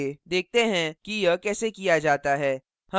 देखते हैं कि यह कैसे किया जाता है